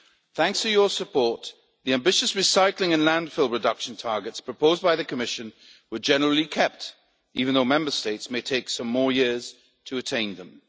Thanks to your support, the ambitious recycling and landfill reduction targets proposed by the Commission were generally kept, even though Member States may take some more years to attain them.